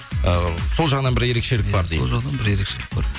ы сол жағынан бір ерекшелік бар дейсіз сол жағынан бір ерекшелік бар